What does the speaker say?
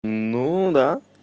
ну да